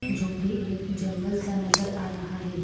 जो गी एक जंगल सा नजर आ रहा हैं।